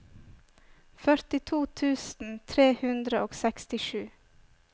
førtito tusen tre hundre og sekstisju